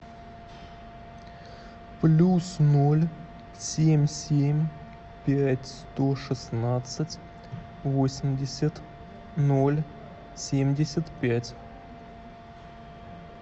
плюс ноль семь семь пять сто шестнадцать восемьдесят ноль семьдесят пять